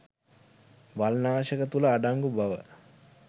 වල්නාශක තුළ අඩංගු බව